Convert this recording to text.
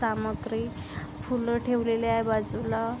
सामग्री फूल ठेवलेली आहे बाजूला.